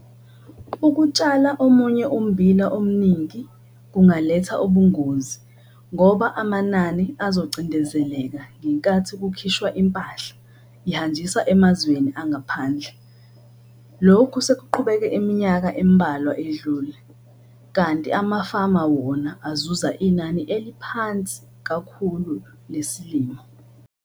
Ukutshala omunye ummbila omningi kungaletha ubungozi ngoba amanani azocindezeleka ngenkathi kukhishwa impahla ihanjiswa emazweni angaphandle. Lokhu sekuqhubeke iminyaka embalwa edlule, kanti amafama wona azuza inani eliphansi kakhulu lesilimo.